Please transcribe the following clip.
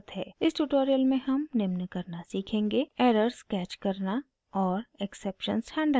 इस tutorial में हम निम्न करना सीखेंगे: